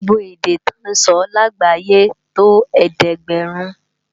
Gbógbó èdè tò nsò lágbáyé tó ẹ̀ẹ́dẹ́ɡbarin